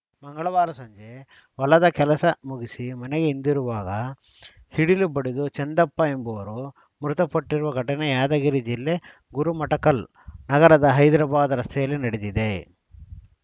ಮಂಗಳವಾರ ಸಂಜೆ ಹೊಲದ ಕೆಲಸ ಮುಗಿಸಿ ಮನೆಗೆ ಹಿಂದಿರುಗುವಾಗ ಸಿಡಿಲು ಬಡಿದು ಚಂದಪ್ಪ ಎಂಬುವರು ಮೃತಪಟ್ಟಿರುವ ಘಟನೆ ಯಾದಗಿರಿ ಜಿಲ್ಲೆ ಗುರುಮಠಕಲ್‌ ನಗರದ ಹೈದರಾಬಾದ್‌ ರಸ್ತೆಯಲ್ಲಿ ನಡೆದಿದೆ